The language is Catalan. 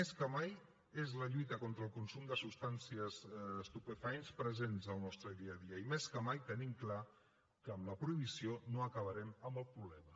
més que mai és la lluita contra el consum de substàncies estupefaents present al nostre dia a dia i més que mai tenim clar que amb la prohibició no acabarem amb el problema